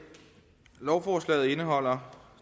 herre